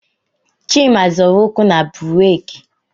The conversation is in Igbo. Chima zọrọ ụkwụ na buraaki